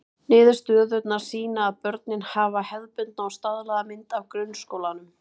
Niðurstöðurnar sýna að börnin hafa hefðbundna og staðlaða mynd af grunnskólanum.